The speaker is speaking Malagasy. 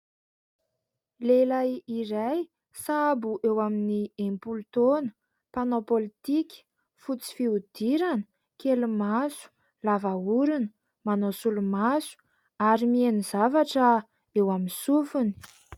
Lehilahy iray sahabo eo amin'ny enimpolo taona , mpanao politika, fotsy fihodirana, kely maso, lava orona, manao solomaso, ary mihaino zavatra eo amin'ny sofiny.